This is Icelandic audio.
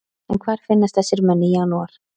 En hvar finnast þessir menn í janúar?